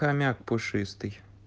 хомяк пушистый